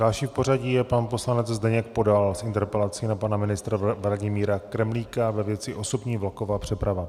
Další v pořadí je pan poslanec Zdeněk Podal s interpelací na pana ministra Vladimíra Kremlíka ve věci osobní vlaková přeprava.